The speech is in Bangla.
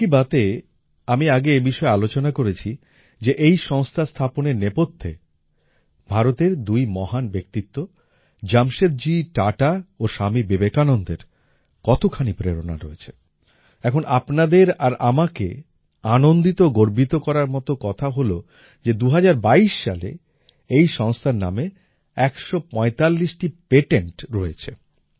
মন কী বাতএ আমি আগে এ বিষয়ে আলোচনা করেছি যে এই সংস্থা স্থাপনের নেপথ্যে ভারতের দুই মহান ব্যক্তিত্ব জামশেদজী টাটা ও স্বামী বিবেকানন্দের কতখানি প্রেরণা রয়েছে এখন আপনাদের আর আমাকে আনন্দিত ও গর্বিত করার মতো কথা হলো যে ২০২২ সালে এই সংস্থার নামে ১৪৫ টি পেটেন্ট পেটেন্টস রয়েছে